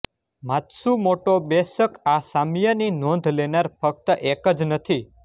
Matsumoto બેશક આ સામ્યની નોંધ લેનાર ફક્ત એક જ નથી